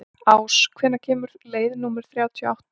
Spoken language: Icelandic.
Ás, hvenær kemur leið númer þrjátíu og átta?